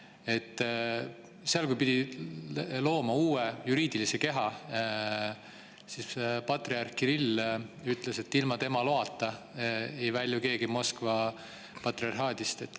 Aga Ukrainas pidi looma uue juriidilise keha, sest patriarh Kirill ütles, et ilma tema loata ei välju keegi Moskva patriarhaadi.